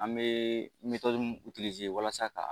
An bɛ min walasa ka